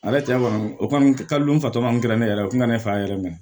Ale cɛ kɔni o kɔni ka di n fatɔ ma kɛra ne yɛrɛ ye o tun ka na ne fa yɛrɛ mɛn